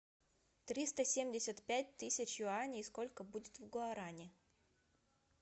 триста семьдесят пять тысяч юаней сколько будет в гуарани